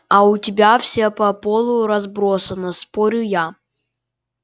а у тебя все по полу разбросано спорю я